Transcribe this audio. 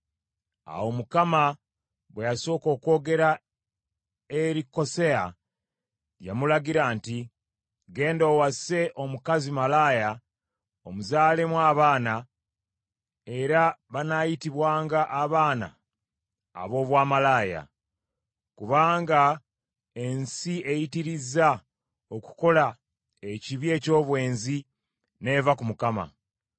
Awo Mukama bwe yasooka okwogera eri Koseya, yamulagira nti, “Ggenda owase omukazi malaaya, omuzaalemu abaana, era banaayitibwanga abaana aboobwamalaaya, kubanga ensi eyitirizza okukola ekibi eky’obwenzi, n’eva ku Mukama .”